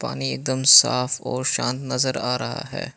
एकदम साफ और शांत नजर आ रहा है।